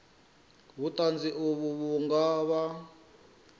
vhuṱanzi uvho vhu nga vha